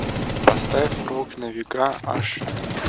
поставь рок на века аш ди